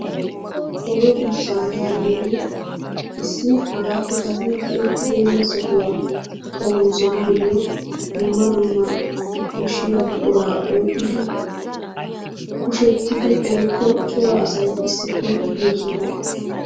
Oge buussaa yaagiyogee issi hagaappe kase be'ettibeenna sohuwa xommoossanaayo dumma dumma koshshiya buquraa oyqqidi kushe genttidi woykko cora asay issippe de'iyo sohuwa.